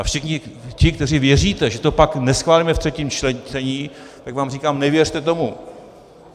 A všichni ti, kteří věříte, že to pak neschválíme v třetím čtení, tak vám říkám, nevěřte tomu.